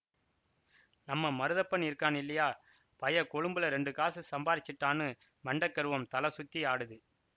நம்ம மருதப்பன் இருக்கான் இல்லியா பய கொளும்புலெ ரெண்டு காசு சம்பாரிச்சிட்டான்னு மண்டெக் கருவம் தலை சுத்தியாடுது